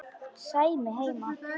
Sæmi heima!